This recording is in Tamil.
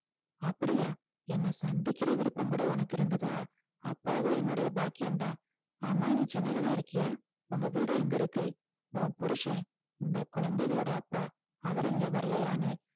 அப்படியா என்னை சந்திக்கிற விருப்பம் கூட உனக்கு இருந்ததா அப்ப அது என்னுடைய பாக்கியம்தான் ஆமா நீ சென்னையிலதான் இருக்கியா உங்க வீடு எங்க இருக்கு உன் புருசன் இந்த குழந்தைகளோட அப்பா அவரு இங்க வரலையான்னு